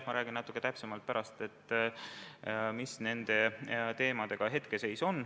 Ma räägin pärast natuke täpsemalt, milline on nende hetkeseis.